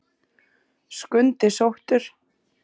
Skundi sóttur